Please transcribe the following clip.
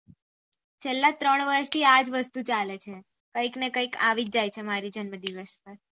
છેલા ત્રણ વર્ષ થી આ જ વસ્તુ ચાલે છે કઈ કઈ આવી જ જાય છે મારા જન્મ દિવસ પર